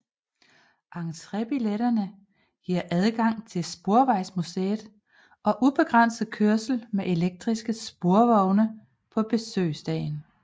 Entrébilletterne giver adgang til Sporvejsmuseet og ubegrænset kørsel med elektriske sporvogne på besøgsdagen